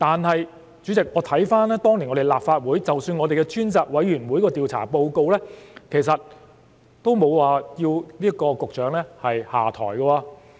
可是，主席，我看回當年的立法會，我們的專責委員會的調查報告其實也沒有要求局長下台。